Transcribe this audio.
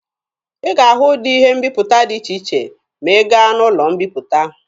Ị ga-ahụ ụdị ihe mbiputa dị iche iche ma ị gaa n'ụlọ mbiputa.